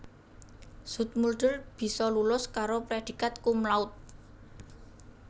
Zoetmulder bisa lulus karo prédhikat cum laude